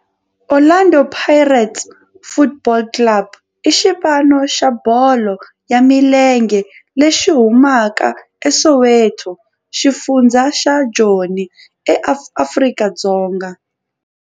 Orlando Pirates Football Club i xipano xa bolo ya milenge lexi humaka eSoweto, xifundzha xa Joni, Afrika-Dzonga.